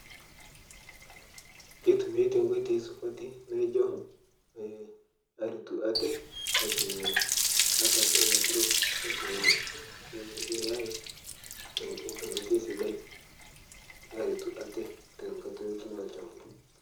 Keitumia te nkotoi supati naijo ee aretuu atee aitumia ataasa ilaturok aitumia AI to nkotei sisai aretuu atee te nkaata.